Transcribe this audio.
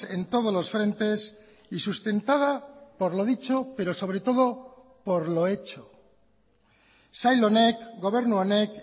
en todos los frentes y sustentada por lo dicho pero sobre todo por lo hecho sail honek gobernu honek